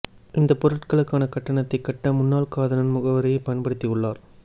இந்த பொருட்களுக்கான கட்டணத்தை கட்ட முன்னாள் காதலன் முகவரியை பயன்படுத்தி உள்ளார்